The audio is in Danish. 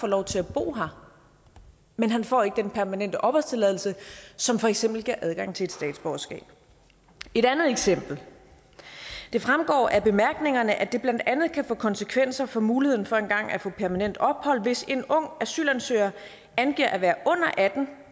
lov til at bo her men han får ikke den permanente opholdstilladelse som for eksempel giver adgang til et statsborgerskab et andet eksempel det fremgår af bemærkningerne at det blandt andet kan få konsekvenser for muligheden for engang at få permanent ophold hvis en ung asylansøger angiver at være under atten år